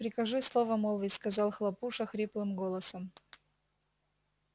прикажи слово молвить сказал хлопуша хриплым голосом